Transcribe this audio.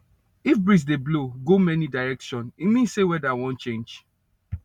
if breeze dey blow go many direction e mean say weather wan change